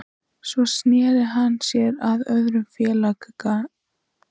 Svo sneri hann sér að öðrum félaganna